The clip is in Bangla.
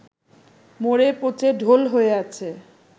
মরে পচে ঢোল হয়ে আছে